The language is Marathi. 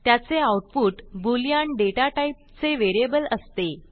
त्याचे आऊटपुटboolean दाता typeचे व्हेरिएबल असते